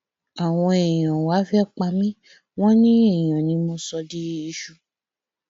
àwọn èèyàn wàá fẹẹ pa mí wọn ní èèyàn ni mo sọ di iṣu